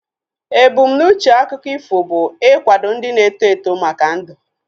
Ebu m n'uche akụkọ ifo bụ ikwado ndị na-eto eto maka ndu